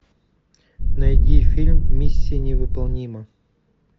найди фильм миссия невыполнима